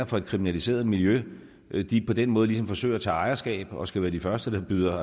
for et kriminaliseret miljø på den måde forsøger at tage ejerskab og skal være de første der byder